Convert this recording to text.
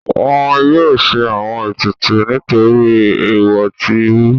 Wọn yóò ṣe àwọn ètùtù nítorí èèwọ̀ tí rú.